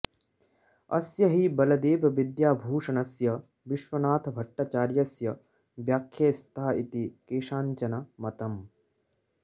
अस्य हि बलदेवविद्याभूषणस्य विश्वनाथभट्टाचार्यस्य व्याख्ये स्त इति केषाञ्चन मतम्